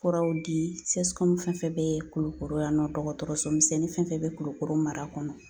Furaw di CSCOM fɛn fɛn bɛ Kulukoro yan nɔ dɔgɔtɔrɔso misɛnnin fɛn fɛn bɛ Kulukoro mara kɔnɔ